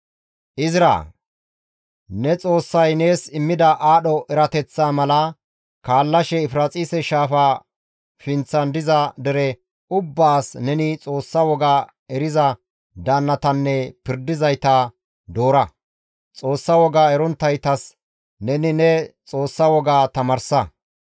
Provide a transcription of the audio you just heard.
«Izraa! Ne Xoossay nees immida aadho erateththaa mala kaallashe Efiraaxise shaafa pinththan diza dere ubbaas neni Xoossa woga eriza daannatanne pirdizayta doora; Xoossa woga eronttaytas neni ne Xoossa woga tamaarsa.